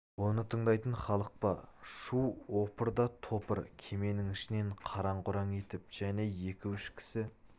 оны тындайтын халық па шу опыр да топыр кеменің ішінен қараң-құраң етіп және екі-үш кісі